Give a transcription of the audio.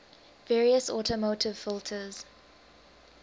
various automotive filters